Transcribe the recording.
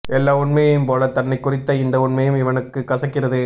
எல்லா உண்மையும் போல தன்னைக் குறித்த இந்த உண்மையும் இவனுக்கு கசக்கிறது